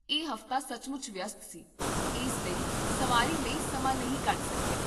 ਇਹ ਹਫ਼ਤਾ ਸੱਚਮੁੱਚ ਵਿਅਸਤ ਸੀ, ਇਸ ਲਈ ਸਵਾਰੀ ਲਈ ਸਮਾਂ ਨਹੀਂ ਕੱਢ ਸਕੀਆ